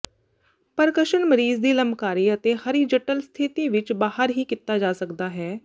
percussion ਮਰੀਜ਼ ਦੀ ਲੰਬਕਾਰੀ ਅਤੇ ਹਰੀਜੱਟਲ ਸਥਿਤੀ ਵਿੱਚ ਬਾਹਰ ਹੀ ਕੀਤਾ ਜਾ ਸਕਦਾ ਹੈ